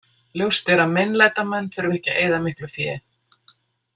Ljóst er að meinlætamenn þurfa ekki að eyða miklu fé.